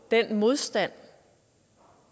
den modstand